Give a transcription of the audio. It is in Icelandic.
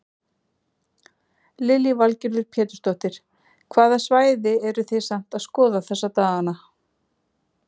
Lillý Valgerður Pétursdóttir: Hvaða svæði eru þið samt að skoða þessa daganna?